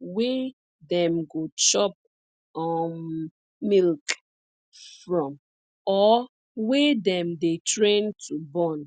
wey dem go chop um milk from or wey dem dey train to born